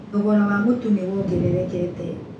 Thogora wa mũtu nĩ wongererekete.